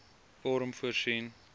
vorm voorsien